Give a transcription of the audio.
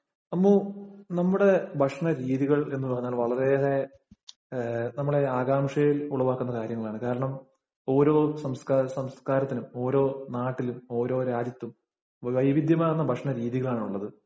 അമ്മൂ, നമ്മുടെ ഭക്ഷണരീതികള്‍ എന്ന് പറഞ്ഞാല്‍ വളരെയേറെ നമ്മളെ ആകാംക്ഷയില്‍ ഉളവാക്കുന്ന കാര്യങ്ങളാണ്. കാരണം, ഓരോ സംസ്കാരത്തിനും, ഓരോ നാട്ടിലും, ഓരോ രാജ്യത്തും വൈവിധ്യമാര്‍ന്ന ഭക്ഷണരീതികളാണുള്ളത്.